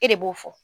E de b'o fɔ